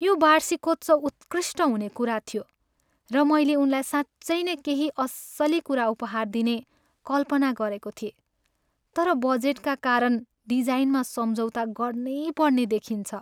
यो वार्षिकोत्सव उत्कृष्ट हुने कुरा थियो, र मैले उनलाई साँच्चै नै केही अस्सली कुरा उपहार दिने कल्पना गरेको थिएँ। तर बजेटका कारण डिजाइनमा सम्झौता गर्नै पर्ने देखिन्छ।